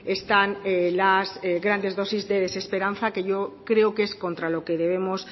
están las grandes dosis de desesperanza que yo creo que es contra lo que debemos